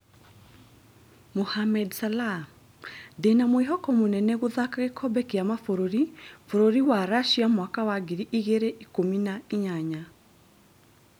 Mohamed Salah: 'ndĩna mwĩhoko munene' gũthaka gĩkombe kĩa mabũrũri bũrũri wa Russia mwaka wa ngiri igĩrĩ ikumi na inyanya